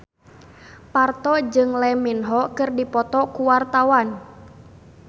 Parto jeung Lee Min Ho keur dipoto ku wartawan